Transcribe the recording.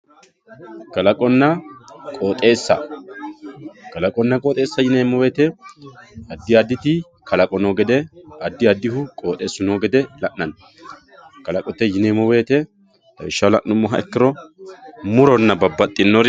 kalaqonna qooxeessa kalaqonna qooxeessa yineemo woyiite addi additi kalaqo noo gede addi addihu qooxeessu noo gede la'nanni kalaqote yineemo woyiite lawishshaho la'numoha ikkiro muronna babbadhinori